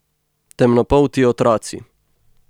Temnopolti otroci.